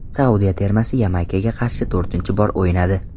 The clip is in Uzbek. Saudiya termasi Yamaykaga qarshi to‘rtinchi bor o‘ynadi.